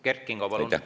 Kert Kingo, palun!